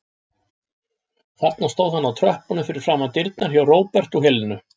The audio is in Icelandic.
Þarna stóð hann á tröppunum fyrir framan dyrnar hjá Róbert og Helenu.